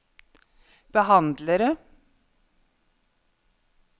behandlere